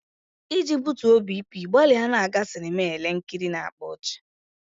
Iji butuo BP, gbalịa na-aga sinema ele nkiri na-akpa ọchị.